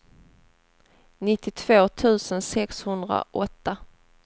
nittiotvå tusen sexhundraåtta